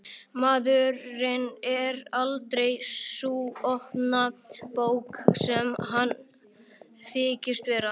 Maðurinn er aldrei sú opna bók sem hann þykist vera.